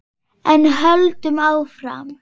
En höldum áfram: